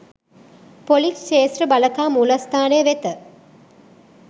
police ක්‍ෂේත්‍ර බළකා මූලස්‌ථානය වෙත